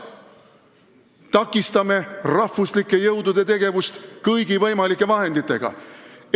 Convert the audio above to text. Takistame rahvuslike jõudude tegevust kõigi võimalike vahenditega.